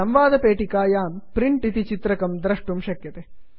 संवादपेटिकायां print print इति चित्रकं द्रष्टुं शक्यते